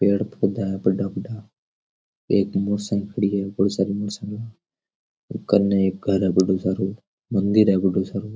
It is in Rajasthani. पेड़ पौधा है बड़ा बड़ा एक मोटर साइकिल पड़ी है बहुत सारी मोटर साइकिल कने एक घर है बड़ो सारो मंदिर है बड़ो सारो।